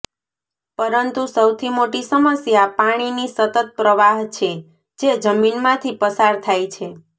પરંતુ સૌથી મોટી સમસ્યા પાણીની સતત પ્રવાહ છે જે જમીનમાંથી પસાર થાય છે